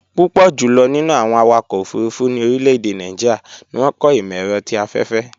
Púpọ̀ jùlọ̀ nínú àwọn awakọ̀ òfurufú ní orílẹ̀-èdè Nàìjíríà ni wọ́n kọ́ ìmọ̀-ẹ̀rọ ti afẹ́fẹ́